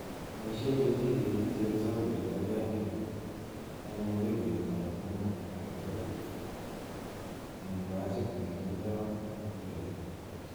Boishen kechiket icheru sampolit agenge en mokibet ab mut agetugul en bachit nekindo mokubet.